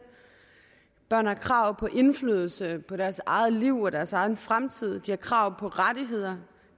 børn har krav på indflydelse på deres eget liv og deres egen fremtid de har krav på rettigheder